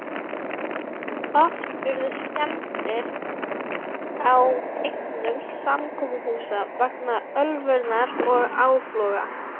Oft urðu skemmdir á eignum samkomuhúsa vegna ölvunar og áfloga.